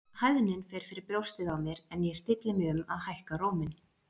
Hæðnin fer fyrir brjóstið á mér en ég stilli mig um að hækka róminn.